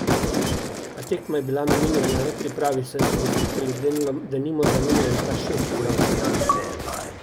A tekma je bila namenjena le pripravi, saj so gostitelji denimo zamenjali kar šest igralcev.